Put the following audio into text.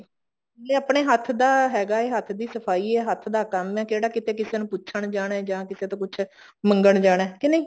ਵੀ ਆਪਣੇ ਹੱਥ ਦਾ ਹੈਗਾ ਹੈ ਹੱਥ ਦੀ ਸਫਾਈ ਹੈ ਹੱਥ ਦਾ ਕੰਮ ਹੈ ਕਿਹੜਾ ਕਿਤੇ ਕਿਸੇ ਨੂੰ ਪੁੱਛਣ ਜਾਣਾ ਜਾਂ ਕਿਸੇ ਤੋਂ ਪੁੱਛ ਮੰਗਣ ਜਾਣਾ ਕ ਨਹੀਂ